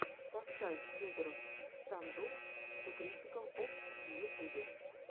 поставь федороффф стандофф ту критикал опс в ютюбе